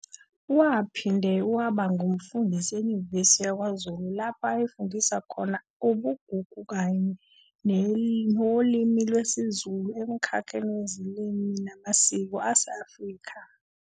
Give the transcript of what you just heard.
Waphinde wabe ngumfundisi eNyuvesi yakwaZulu lapho ayefundisa khona ubuGugu kanye nolimilwesiZulu emkhakheni weziLimi namaSiko ase-Afrika